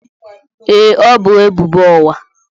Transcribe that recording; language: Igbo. Ee, ọ bu ebubo ụgha.